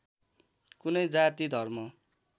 कुनै जाति धर्म